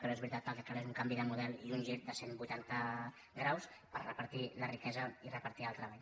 però és veritat que el que cal és un canvi de model i un gir de cent vuitanta graus per repartir la riquesa i re·partir el treball